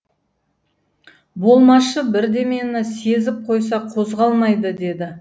болмашы бірдемені сезіп қойса қозғалмайды деді